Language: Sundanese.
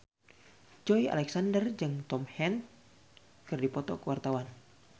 Joey Alexander jeung Tom Hanks keur dipoto ku wartawan